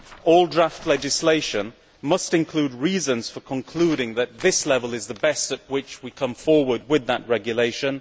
all draft legislation must include reasons for concluding that this level is the best at which we come forward with that regulation